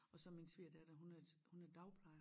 Og så min svigerdatter hun er hun er dagplejer